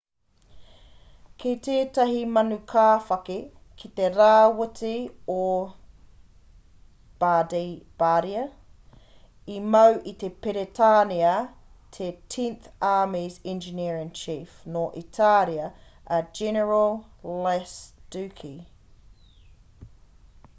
ki tētahi manukāwhaki ki te rāwhiti o bardia i mau i a peretānia te tenth army's engineer-in-chief nō itāria a general lastucci